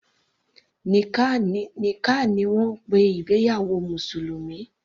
Nikkah ni wọ́n ń pe ìgbéyàwó mùsùlùmí.